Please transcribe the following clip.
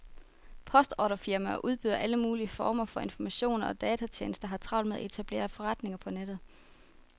Postordrefirmaer og udbydere af alle mulige former for informationer og datatjenester har travlt med at etablere forretninger på nettet.